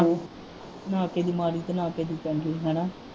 ਨਾ ਕਿਸੇ ਦੀ ਮਾੜੀ ਤੇ ਨਾ ਕਿਸੇ ਦੀ ਚੰਗੀ ਹਨਾਂ।